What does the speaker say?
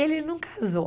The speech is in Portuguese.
Ele não casou.